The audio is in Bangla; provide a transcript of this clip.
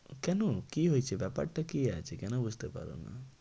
কেন কি হয়েছে? ব্যাপারটা কি আছে? কেন বুঝতে পারো না?